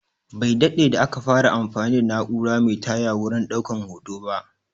Bai daɗe da aka fara anfani da naura Mai taya wurin ɗaukan hoto ba